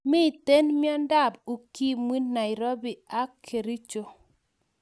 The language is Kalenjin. Miten miandab ukimwi nairobi ak kercho